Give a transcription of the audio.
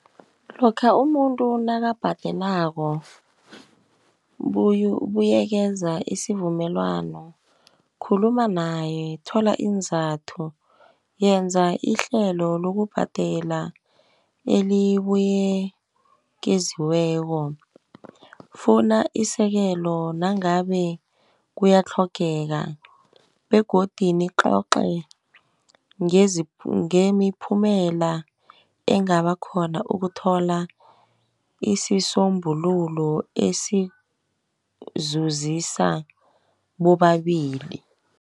Lokha umuntu nakangabhadelako, ubuyekeza isivumelwano, khuluma naye, thola iinzathu. Yenza ihlelo lokubhadela elibuyekeziweko. Funa isekelo nangabe kuyatlhogeka, begodu nicoce ngemiphumela engaba khona ukuthola isisombululo esizuzisa bobabili.